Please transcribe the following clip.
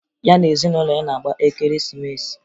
Ya na ezinụlọ ya na-agba Ekeresimeesi